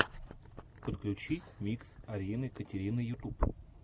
подключи микс арины катерины ютуб